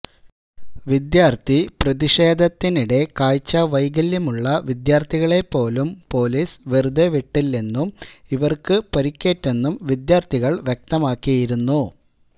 വിദ്യാർത്ഥി പ്രതിഷേധത്തിനിടെ കാഴ്ചാവൈകല്യമുള്ള വിദ്യാർത്ഥികളെ പോലും പോലീസ് വെറുതെ വിട്ടില്ലെന്നും ഇവർക്ക് പരിക്കേറ്റെന്നും വിദ്യാർത്ഥികൾ വ്യക്തമാക്കിയിരുന്നു